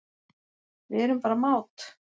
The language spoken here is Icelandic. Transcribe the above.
Við erum bara mát